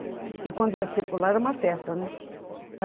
Porque quando ia circular era uma festa, né?